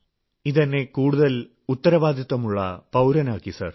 ഇതെന്നെ കൂടുതൽ ഉത്തരവാദിത്വമുള്ള പൌരനാക്കി സർ